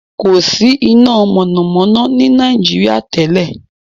There was no electricity in Nigeria before.